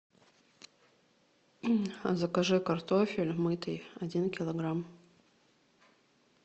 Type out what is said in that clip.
закажи картофель мытый один килограмм